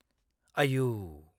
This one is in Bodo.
आइऔ !